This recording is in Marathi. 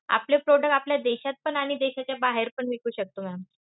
आपले product आपल्या देशात पण आणि देशाच्या बाहेर पण विकू शकतो ma'am.